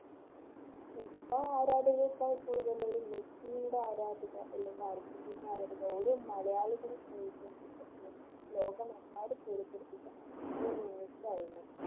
football ആരാധികയെക്കാൾ കൂടുതൽ ഒരു മെസ്സിയുടെ ആരാധിക അല്ലെങ്കിൽ അർജൻറീന ആരാധിക ഒരു മലയാളി ലോകമെമ്പാടും